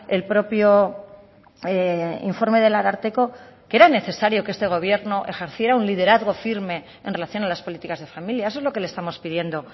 el propio informe del ararteko que era necesario que este gobierno ejerciera un liderazgo firme en relación a las políticas de familia eso es lo que le estamos pidiendo